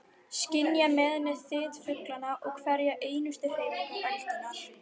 Skynja með henni þyt fuglanna og hverja einustu hreyfingu öldunnar.